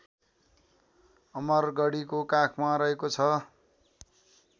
अमरगढीको काखमा रहेको छ